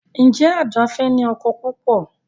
Njé Ada fè ní ọkọ púpọ?